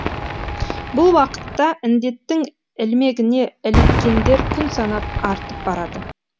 бұл уақытта індеттің ілмегіне іліккендер күн санап артып барады